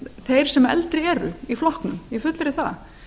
þeir sem eldri eru í flokknum ég fullyrði það